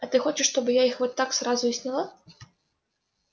а ты хочешь чтобы я их вот так сразу и сняла